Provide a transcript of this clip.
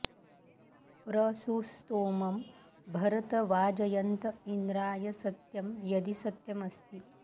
प्र सु स्तोमं भरत वाजयन्त इन्द्राय सत्यं यदि सत्यमस्ति